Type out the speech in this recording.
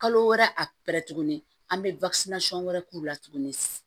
Kalo wɛrɛ arɛ tuguni an bɛ wɛrɛ k'u la tuguni